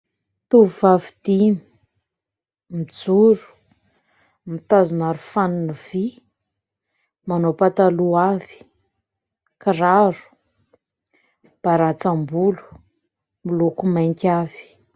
Tovovavy dimy, mijoro, mitazona aro fanina vy, manao pataloha avy, kiraro, mibarantsam-bolo miloko mainty avy.